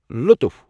لُطُف